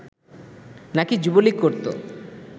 নাকি যুবলীগ করতো